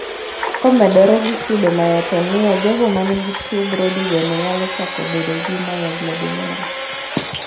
Komedore gi pseudomyotonia jogo manigi tuo Brody bende nyalo chako bedo gi myoglobinuria